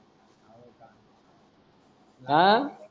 हां